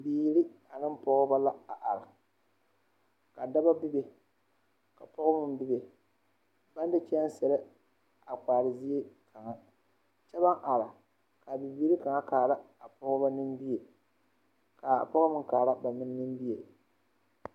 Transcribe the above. Bibiiri ane pɔɔbɔ la a are ka dɔbɔ bebe ka pɔɡebɔ meŋ bebe baŋ de kyɛɛsere a kpaare zie kaŋa kyɛ baŋ are ka bibiiri kaŋa kaara a pɔɡebɔ nimie ka a pɔɡe meŋ kaara ba nimie.